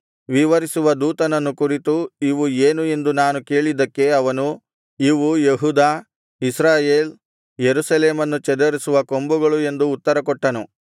ವಿವರಿಸುವ ದೂತನನ್ನು ಕುರಿತು ಇವು ಏನು ಎಂದು ನಾನು ಕೇಳಿದ್ದಕ್ಕೆ ಅವನು ಇವು ಯೆಹೂದ ಇಸ್ರಾಯೇಲ್ ಯೆರೂಸಲೇಮನ್ನು ಚದುರಿಸುವ ಕೊಂಬುಗಳು ಎಂದು ಉತ್ತರಕೊಟ್ಟನು